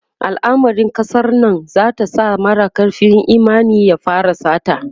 alamarin kasar Nan zata sa mara karfin Imani ya fara sata